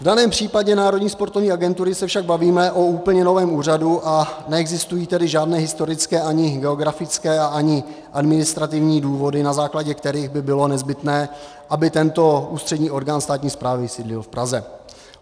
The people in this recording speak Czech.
V daném případě Národní sportovní agentury se však bavíme o úplně novém úřadu, a neexistují tedy žádné historické, ani geografické a ani administrativní důvody, na základě kterých by bylo nezbytné, aby tento ústřední orgán státní správy sídlil v Praze.